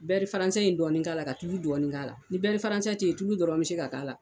Bɛri faransɛ in dɔɔnin k'a la, ka tulu dɔɔnin k'a la ni bɛri faransɛ tɛ yen tulu dɔrɔn bɛ se ka k'a la.